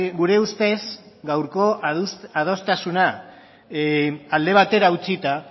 gure ustez gaurko adostasuna alde batera utzita